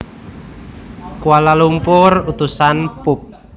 Kuala Lumpur Utusan Pub